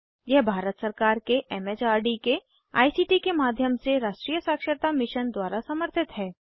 यह भारत सरकार के एम एच आर दी के आई सी टी के माध्यम से राष्ट्रीय साक्षरता मिशन द्वारा समर्थित है